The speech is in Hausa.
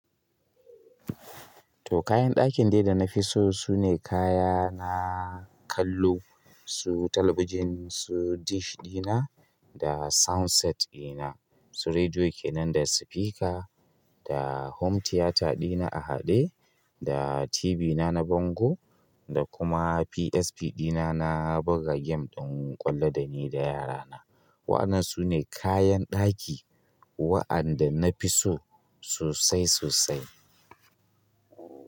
To kayan ɗakin dai danafi so sune kaya na kallo, su talabijin, su dish ɗina, da soundset ɗina, su rediyo kenan da spika, da home tiyata ɗina a haɗe, da TV na na bango, da kuma PSP ɗina na buga game ɗin ƙwallo da ni da yara na. Wa'annan sune kayan ɗaki wa'anda nafi so sosai sosai.